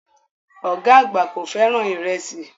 Ọ̀gá àgbà kò fẹ́ràn ìrẹsì